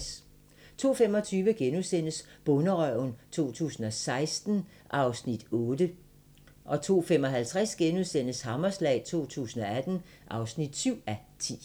02:25: Bonderøven 2016 (8:10)* 02:55: Hammerslag 2018 (7:10)*